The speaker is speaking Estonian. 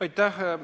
Aitäh!